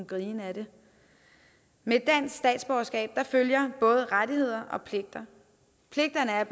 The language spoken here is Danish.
grine af det med et dansk statsborgerskab følger både rettigheder og pligter pligterne er